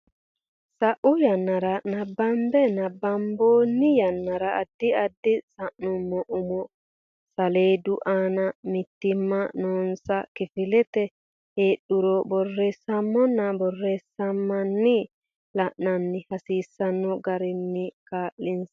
sa u yannara nabbambe nabbabbanno yannara addi addi sa nummo umo saleedu aana mitiimma noonsa kifilete heedhuro borreesseemmona borreesseemmana la anni hasiisano garinni kaa linsa.